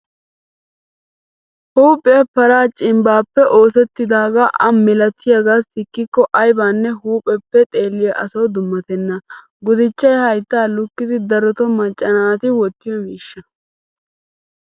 Huuphiyan paraa cimbbaappe oosettidaagaa a malatiyaagaa sikkikko ayibanne huupheppe xeelliya asawu dummatenna. Gudichchay hayttaa lukkidi darotoo macca naati wottiyo miishshaa.